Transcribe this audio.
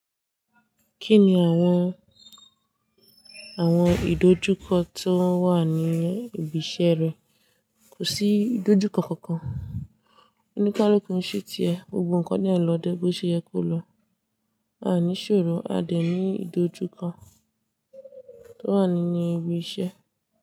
Kí ni àwọn, àwọn ìdojúkọ tó wà ní ibi iṣẹ́ rẹ? Kò sí ìdojúkọ kankan. Onikaluku n ṣe ti ẹ, gbogbo ǹkan de ń lọ dé bí ó ṣe yẹ kó lọ. A ní ṣòro, a dẹ̀ ní ìdojúkọ tó wà nínú ibi iṣẹ́